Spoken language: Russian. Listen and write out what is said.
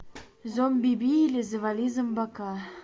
зомбиби или завали зомбака